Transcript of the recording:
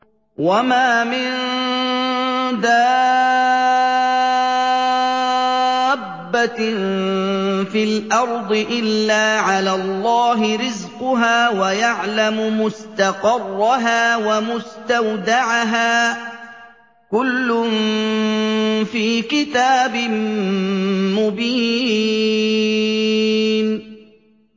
۞ وَمَا مِن دَابَّةٍ فِي الْأَرْضِ إِلَّا عَلَى اللَّهِ رِزْقُهَا وَيَعْلَمُ مُسْتَقَرَّهَا وَمُسْتَوْدَعَهَا ۚ كُلٌّ فِي كِتَابٍ مُّبِينٍ